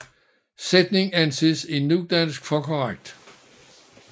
Sætningen anses i nudansk for korrekt